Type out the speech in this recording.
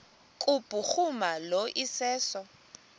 kubhuruma lo iseso